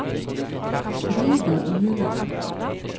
Frida Ueland